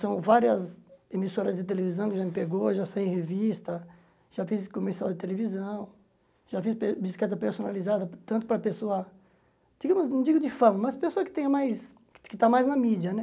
São várias emissoras de televisão que já me pegou, já saí em revista, já fiz comercial de televisão, já fiz pe bicicleta personalizada, tanto para a pessoa, não digo de fama, mas para a pessoa que está mais está mais na mídia, né?